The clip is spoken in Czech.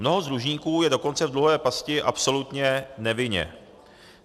Mnoho z dlužníků je dokonce v dluhové pasti absolutně nevinně.